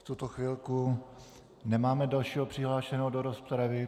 V tuto chvilku nemáme dalšího přihlášeného do rozpravy.